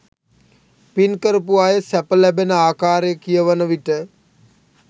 පින් කරපු අය සැප ලබන ආකාරය කියවන විට